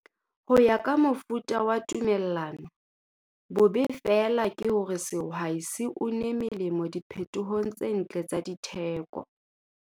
Ho ya ka mofuta wa tumellano, bobe feela ke hore sehwai ha se une melemo diphetohong tse ntle tsa ditheko.